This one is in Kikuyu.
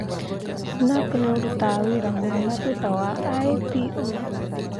snap nĩ ũrutaga wĩra wega thutha wa i.p.o